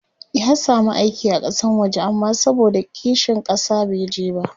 ya samu aiki a Kasan waje amma saboda kishin ƙasa bai je ba